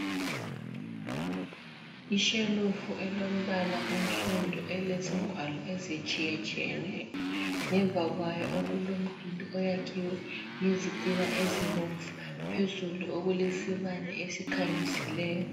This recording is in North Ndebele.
Ishelufu elombala onsundu elezingwalo ezitshiyetshiyeneyo, ngemva kwayo okulomduli oyakhiwe ngezitina ezibomvu. Phezulu okulesibane esikhanyisileyo.